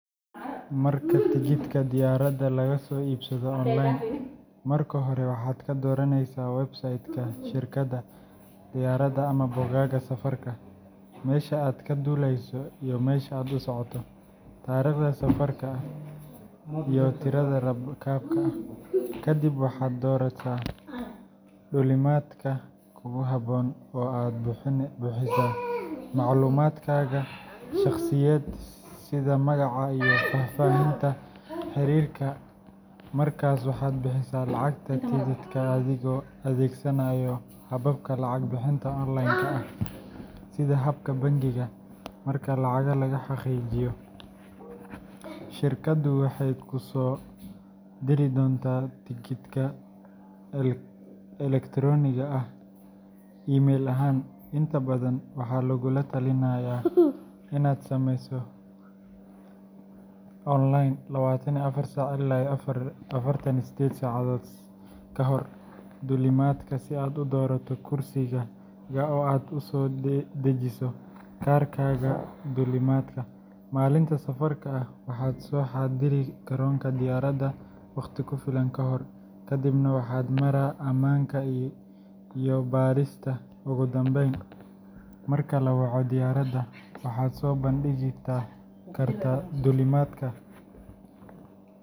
Marka tigidhka diyaaradda laga soo iibsado online, marka hore waxaad ka dooranaysaa website-ka shirkadda diyaaradda ama bogagga safarka meesha aad ka duulayso iyo meesha aad u socoto, taariikhda safarka, iyo tirada rakaabka. Kadib waxaad doorataa duulimaadka kugu habboon oo aad buuxisaa macluumaadkaaga shakhsiyadeed sida magaca iyo faahfaahinta xiriirka. Markaas waxaad bixisaa lacagta tigidhka adigoo adeegsanaya hababka lacag-bixinta online-ka ah sida kaarka bangiga. Marka lacagta la xaqiijiyo, shirkaddu waxay kuu soo diri doontaa tigidhka elektaroonigga ah e-ticket email ahaan. Inta badan, waxaa lagugula talinayaa inaad sameyso check-in online 24-48 saacadood ka hor duulimaadka si aad u doorato kursigaaga oo aad u soo dejiso kaarkaaga duulimaadka. Maalinta safarka, waxaad soo xaadiri garoonka diyaaradaha waqti ku filan ka hor, kadibna waxaad maraa ammaanka iyo baadhista. Ugu dambeyn, marka la waco diyaaradda, waxaad soo bandhigtaa kaarka duulimaadka.